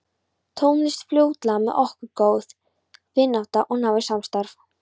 Tókst fljótlega með okkur góð vinátta og náið samstarf.